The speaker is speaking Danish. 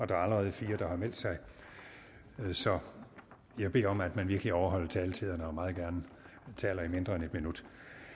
der er allerede fire der har meldt sig så jeg beder om at man virkelig overholder taletiden og meget gerne taler mindre end en minut